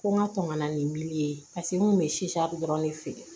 Ko n ka tɔmɔnɔ ni miliyɔn ye pasiki n kun bɛ dɔrɔn de feere